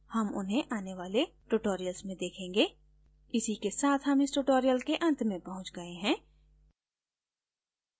हम उन्हें आने वाले tutorials में देखेंगे इसी के साथ हम tutorial के अंत में पहुँच गए हैं